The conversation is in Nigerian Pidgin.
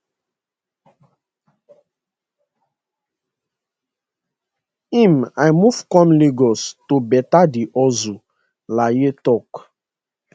im i move come lagos to better di hustle layi tok